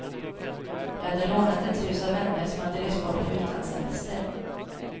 Jag hade lånat ett hus av vänner som hade rest bort på utlandssemester.